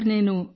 నేను బి